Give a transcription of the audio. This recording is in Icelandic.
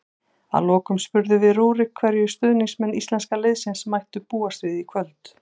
Að lokum spurðum við Rúrik hverju stuðningsmenn íslenska liðsins mættu búast við í kvöld.